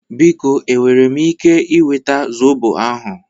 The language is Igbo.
Biko e nwere m ike nweta zobo ahụ?